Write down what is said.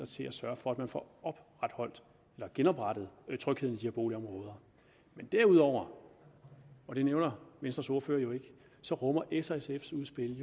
til at sørge for at man får genoprettet trygheden i boligområder men derudover det nævner venstres ordfører jo ikke så rummer s og sfs udspil